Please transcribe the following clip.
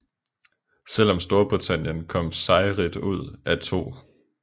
Selv om Storbritannien kom sejrrigt ud af 2